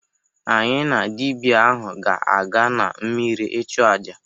Anyị na dịbịa ahụ ga-aga na mmịrị ịchụ aja.